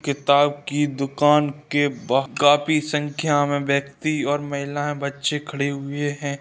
किताब की दुकान के बाह काफी संख्या में व्यक्ति और महिलाएं बच्चे खड़े हुए हैं।